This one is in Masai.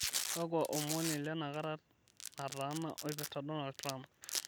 kakua omon ilenakata nataana oipirta donald trump